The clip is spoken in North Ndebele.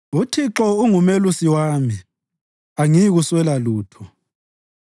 UThixo ungumelusi wami, angiyikuswela lutho.